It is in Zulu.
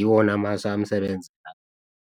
iwona amasu ayamsebenzela.